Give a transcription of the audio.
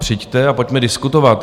Přijďte a pojďme diskutovat.